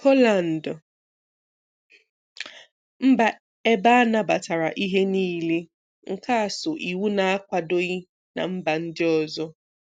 Holland - mba ebe a nabatara ihe nile, nke um iwu na-akwadoghị na mba ndị ọzọ